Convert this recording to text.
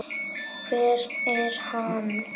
Hver er hann?